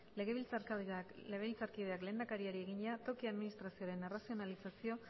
legebiltzarkideak lehendakariari egina toki administrazioaren arrazionalizazio